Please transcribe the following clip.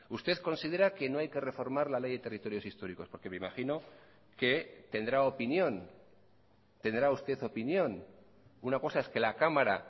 usted considera que no hay que reformar la ley de territorios históricos porque me imagino que tendrá opinión tendrá usted opinión una cosa es que la cámara